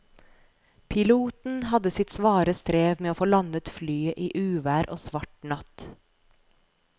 Piloten hadde sitt svare strev med å få landet flyet i uvær og svart natt.